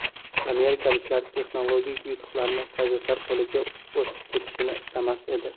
Amerikaliklar texnologik yutuqlarni sovetlar qo‘liga o‘tib ketishini istamas edi.